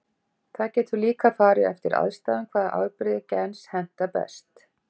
Það getur líka farið eftir aðstæðum hvaða afbrigði gens hentar best.